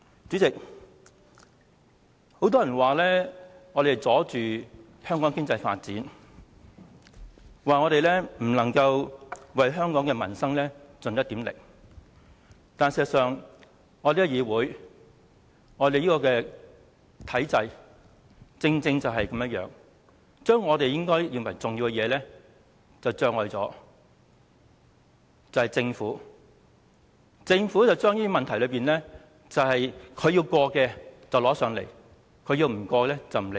主席，很多人說我們妨礙香港經濟發展，不能為香港的民生盡一點力，但事實上，這個議會、體制正是這樣，政府在我們認為重要的事情上加設障礙，把它要通過的事項交到立法會，不想通過的便不理會。